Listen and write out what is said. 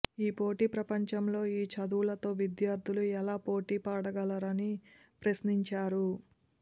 ఈ పోటీ ప్రపంచంలో ఈ చదువులతో విద్యార్థులు ఎలా పోటీ పడగలరని ప్రశ్నించారు